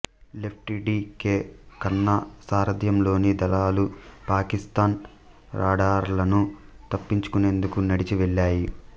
lefty D K Khanna సారథ్యంలోని దళాలు పాకిస్తాన్ రాడార్లను తప్పించుకునేందుకు నడిచి వెళ్ళాయి